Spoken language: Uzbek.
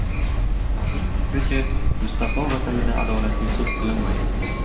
Ularning fikricha, Mustafo vatanida adolatli sud qilinmaydi.